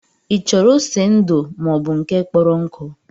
Ị chọrọ ose ndu maọbụ nke kpọrọ nkụ